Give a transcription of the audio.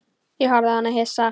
Ég horfði á hann hissa.